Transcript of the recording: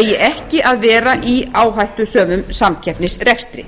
eigi ekki að vera í áhættusömum samkeppnisrekstri